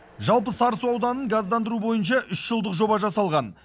жалпы сарысу ауданын газдандыру бойынша үш жылдық жоба жасалған